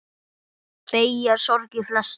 Beygja sorgir flesta.